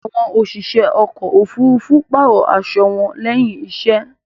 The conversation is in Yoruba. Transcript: Àwọn òṣìṣẹ́ ọkò òfurufú pààrò aṣo wọn lẹ́hìn iṣẹ́.